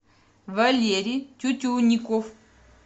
валерий тютюнников